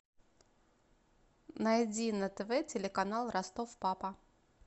найди на тв телеканал ростов папа